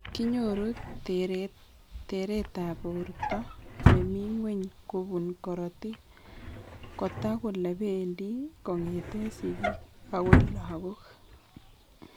Kinyoru teret ab borto nemi ng'weny kobun korotik, kotak kole pendi kong'eten sigik agoi lagok